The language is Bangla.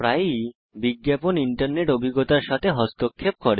প্রায়ই বিজ্ঞাপন আমাদের ইন্টারনেট অভিজ্ঞতার সাথে হস্তক্ষেপ করে